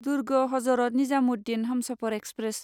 Durg Hazrat Nizamuddin Humsafar express